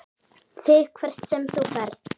ÞIG HVERT SEM ÞÚ FERÐ.